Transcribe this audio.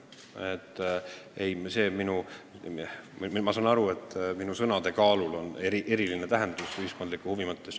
Nüüd ma saan aru, et ühiskondliku huvi mõttes on minu sõnadel eriline tähendus.